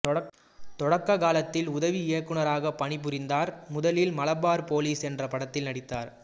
தொடக்ககாலத்தில் உதவி இயக்குனராக பணிபுரிந்தார் முதலில் மலபார் போலிஸ் என்ற படத்தில் நடித்தார்